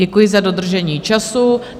Děkuji za dodržení času.